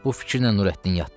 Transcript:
Bu fikirlə Nurəddin yatdı.